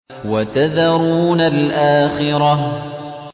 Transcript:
وَتَذَرُونَ الْآخِرَةَ